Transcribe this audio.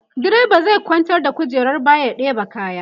driba zai kwantar da kujerar baya ya ɗeba kaya